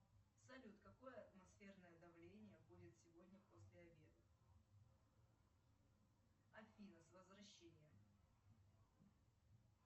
салют какое атмосферное давление будет сегодня после обеда афина с возвращением